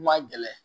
Kuma gɛlɛn